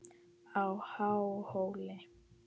á Háhóli.